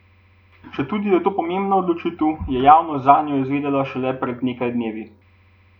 Četudi je to pomembna odločitev, je javnost zanjo zvedela šele pred nekaj dnevi.